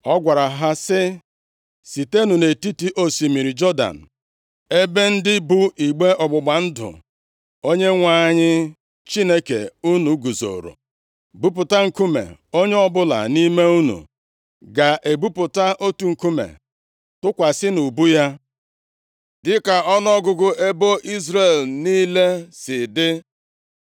Ọ gwara ha sị, “Sitenụ nʼetiti osimiri Jọdan, ebe ndị bu igbe ọgbụgba ndụ Onyenwe anyị Chineke unu guzoro, buputa nkume. Onye ọbụla nʼime unu ga-ebuputa otu nkume, tụkwasị nʼubu ya, dịka ọnụọgụgụ ebo Izrel niile si dị,